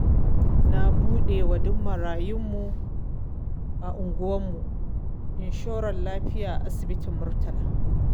Na buɗe wa duk marayu mu a unguwan mu insuran lafiya a asibitin murtala